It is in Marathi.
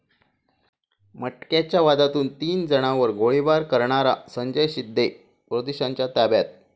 मटक्याच्या वादातून तीन जणांवर गोळीबार करणारा संजय शिंदे पोलिसांच्या ताब्यात